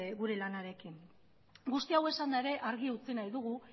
gure lanarekin hau guztia esanda ere argi utzi nahi dugu